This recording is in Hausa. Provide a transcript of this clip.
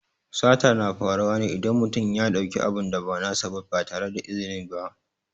Sata na faruwa ne idan mutum ya ɗauki abin da ba nasa ba ba tare da izini ba.